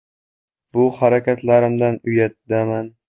Bu harakatlarimdan uyatdaman”.